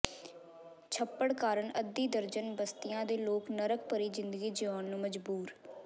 ਛੱਪੜ ਕਾਰਨ ਅੱਧੀ ਦਰਜਨ ਬਸਤੀਆਂ ਦੇ ਲੋਕ ਨਰਕ ਭਰੀ ਜ਼ਿੰਦਗੀ ਜਿਊਣ ਨੂੰ ਮਜਬੂਰ